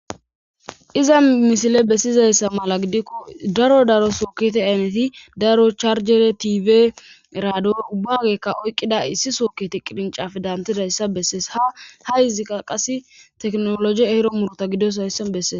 Iza misile bessizayssa mala gidikko daro daro sooketi ayneti daro charjere tibe eraado ubbagekka oyqqida issi sookketi qirincafe dantidayssa bessees ha ha hizika qase teknologi ehro murta gidoshaysse bessees.